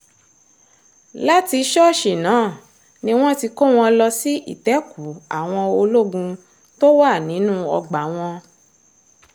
láti ṣọ́ọ̀ṣì náà ni wọ́n ti kó wọn lọ sí ìtẹ́kùú àwọn ológun tó wà nínú ọgbà wọn